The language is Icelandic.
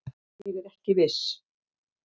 Ég er ekki viss.